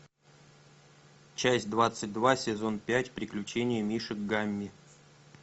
часть двадцать два сезон пять приключения мишек гамми